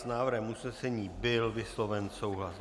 S návrhem usnesení byl vysloven souhlas.